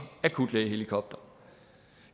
akutlægehelikopter